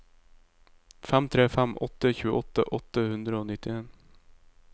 fem tre fem åtte tjueåtte åtte hundre og nittien